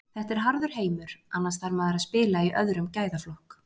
Þetta er harður heimur, annars þarf maður að spila í öðrum gæðaflokk.